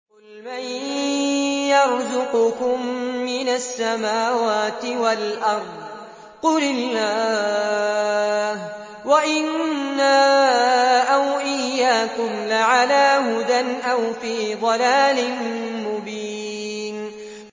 ۞ قُلْ مَن يَرْزُقُكُم مِّنَ السَّمَاوَاتِ وَالْأَرْضِ ۖ قُلِ اللَّهُ ۖ وَإِنَّا أَوْ إِيَّاكُمْ لَعَلَىٰ هُدًى أَوْ فِي ضَلَالٍ مُّبِينٍ